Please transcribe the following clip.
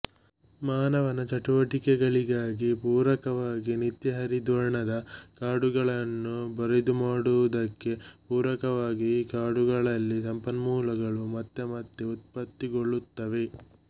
ಮಾನವನ ಚಟುವಟಿಕೆಗಳಿಗಾಗಿ ಪೂರಕವಾಗಿ ನಿತ್ಯಹರಿದ್ವರ್ಣದ ಕಾಡುಗಳನ್ನು ಬರಿದುಮಾಡುವುದಕ್ಕೆ ಪೂರಕವಾಗಿ ಈ ಕಾಡುಗಳಲ್ಲಿ ಸಂಪನ್ಮೂಲಗಳು ಮತ್ತೆ ಮತ್ತೆ ಉತ್ಪತ್ತಿಗೊಳ್ಳುತ್ತವೆ